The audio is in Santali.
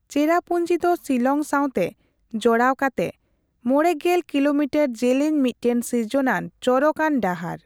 ᱪᱮᱨᱟᱯᱩᱧᱡᱤ ᱫᱚ ᱥᱤᱞᱚᱝ ᱥᱟᱸᱣᱛᱮ ᱡᱚᱲᱟᱣ ᱠᱟᱛᱮ ᱕᱐ ᱠᱤᱞᱳᱢᱤᱴᱟᱨ ᱡᱮᱞᱮᱧ ᱢᱤᱫᱴᱟᱝ ᱥᱤᱨᱡᱚᱱᱟᱱ ᱪᱚᱨᱚᱠ ᱟᱱ ᱰᱟᱦᱟᱨ ᱾